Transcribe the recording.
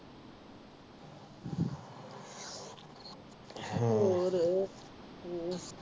ਹੋਰ